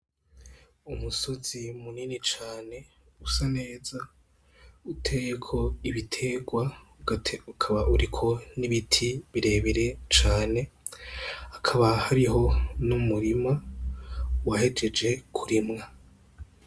Umusozi munini cane, usa neza uteyeko ibiterwa ukaba uriko n'ibiti birebire cane, hakaba hariho n'umurima wahejejwe kurima.